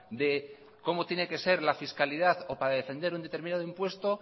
de cómo tiene que ser la fiscalidad o para defender un determinado impuesto